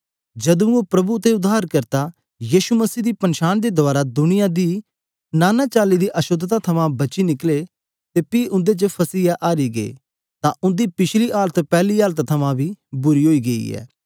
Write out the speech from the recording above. जदू ओह प्रभु अते उद्धारकर्ता यीशु मसीह दी पन्शान दे रहें दुनिया दी नाना चली दी अशोद्धता कन्ने बची निकले अते पी उन्दे च फसीयै हारी गे अते उन्दे पिछली दशा पैहली तो बी बुरी ओई गेई ऐ